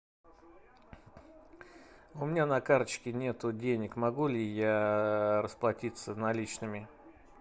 у меня на карточке нету денег могу ли я расплатиться наличными